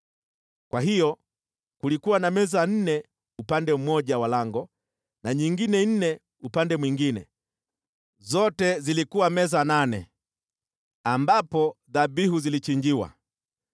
Kwa hiyo kulikuwa na meza nne upande mmoja wa lango na nyingine nne upande mwingine, zote zilikuwa meza nane, ambapo dhabihu zilichinjiwa.